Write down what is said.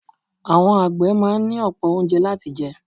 Àwọn àgbẹ̀ máa ní ọ̀pọ̀ oúnjẹ láti jẹ.